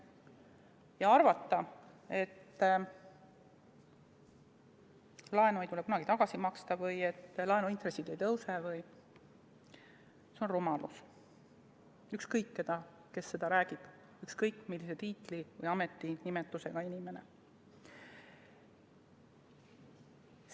Ja arvata, et laenu ei tule kunagi tagasi maksta või et laenuintressid ei tõuse vms, on rumalus, ükskõik kes seda räägib, ükskõik millise tiitli või ametinimetusega inimene.